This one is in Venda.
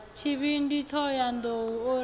tshivhindi thohoyanḓ ou o ri